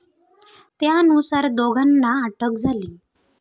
त्यानुसार दोघांना अटक झाली.